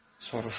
soruşdu.